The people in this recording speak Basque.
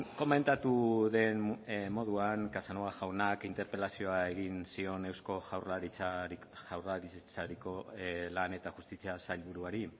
komentatu den moduan casanova jaunak interpelazioa egin zion eusko jaurlaritzako lan eta justizia sailburuari